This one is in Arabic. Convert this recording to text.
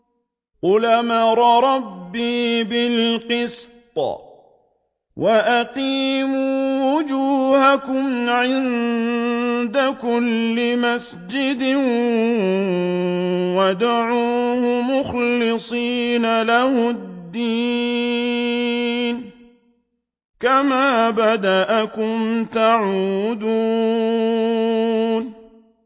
قُلْ أَمَرَ رَبِّي بِالْقِسْطِ ۖ وَأَقِيمُوا وُجُوهَكُمْ عِندَ كُلِّ مَسْجِدٍ وَادْعُوهُ مُخْلِصِينَ لَهُ الدِّينَ ۚ كَمَا بَدَأَكُمْ تَعُودُونَ